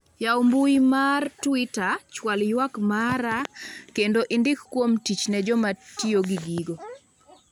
yaw mbui mar twita chwal ywak mara kendo indik kuom tich ne jomatiyo gi gigo